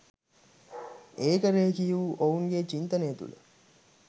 ඒක රෙඛීය වූ ඔවුන්ගේ චින්තනය තුල